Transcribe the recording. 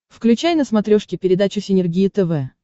включай на смотрешке передачу синергия тв